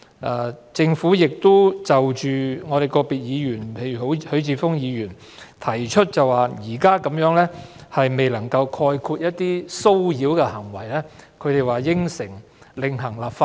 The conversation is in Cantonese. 關於個別議員提出的意見，例如許智峯議員提出這項《條例草案》未能涵蓋一些騷擾行為，政府承諾會另行立法。